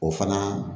O fana